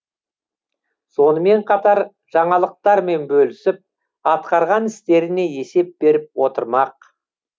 сонымен қатар жаңалықтармен бөлісіп атқарған істеріне есеп беріп отырмақ